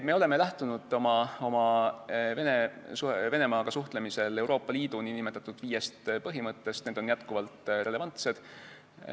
Me oleme lähtunud Venemaaga suhtlemisel Euroopa Liidu nn viiest põhimõttest, need on jätkuvalt relevantsed.